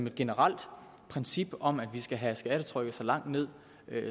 et generelt princip om at vi skal have skattetrykket så langt ned